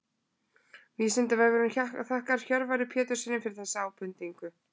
Vísindavefurinn þakkar Hjörvari Péturssyni fyrir þessa ábendingu.